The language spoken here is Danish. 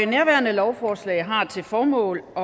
nærværende lovforslag har til formål at